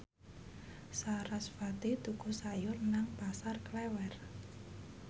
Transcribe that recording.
sarasvati tuku sayur nang Pasar Klewer